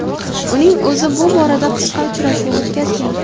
Uning o‘zi bu borada qisqa uchrashuv o‘tkazgan.